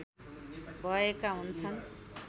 भएका हुन्छन्